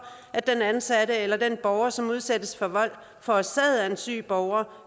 at den ansatte eller den borger som udsættes for vold forårsaget af en syg borger